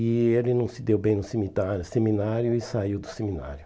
E ele não se deu bem no semitário seminário e saiu do seminário.